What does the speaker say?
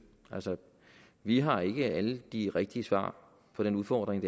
altså vi har ikke alle de rigtige svar på den udfordring